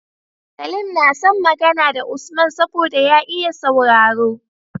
Salim na son Magana da Usman saboda ya iya sauraro